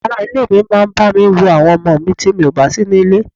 Àwọn ará ilé mi máa bami wo àwọn ọmọ mi ti mi ò bá síní ilé.